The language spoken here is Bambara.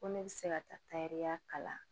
Ko ne bɛ se ka taa tayɛrɛya kalan